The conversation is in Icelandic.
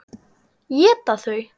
Éta þau?